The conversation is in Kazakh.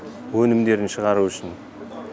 өнімдерін шығару үшін